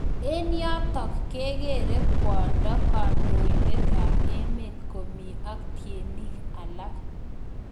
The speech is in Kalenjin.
Eng yotok kekere kwandoo kandoindet ap emeet komii ak tienik alaak